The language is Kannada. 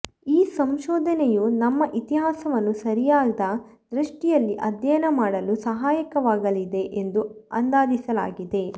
ಈ ಸಂಶೋಧನೆಯು ನಮ್ಮ ಇತಿಹಾಸವನ್ನು ಸರಿಯಾದ ದೃಷ್ಟಿಯಲ್ಲಿ ಅಧ್ಯಯನ ಮಾಡಲು ಸಹಾಯಕವಾಗಲಿದೆ ಎಂದು ಅಂದಾಜಿಸಲಾಗಿದೆ